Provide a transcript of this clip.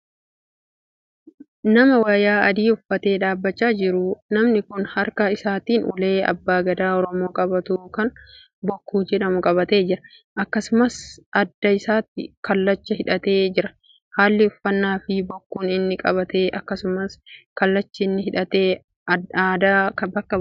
Nama wayaa adii uffatee dhaabbachaa jiruudha. namni Kun harka isaatiin ulee abbaan gadaa oromoo qabaatu Kan bokkuu jedhamu qabatee jira. akkasumas adda isaatti kallacha hidhattee jira. halli uffannaafi bokkuun inni qabatee akkasumas kallachi inni hidhate aadaa bakka bu'a.